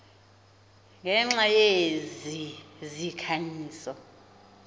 ngenxa yezi zikhanyiso